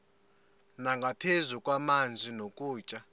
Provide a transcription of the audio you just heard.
nangaphezu kwamanzi nokutya